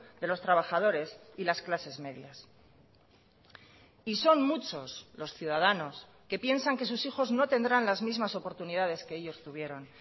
de los trabajadores y las clases medias y son muchos los ciudadanos que piensan que sus hijos no tendrán las mismas oportunidades que ellos tuvieron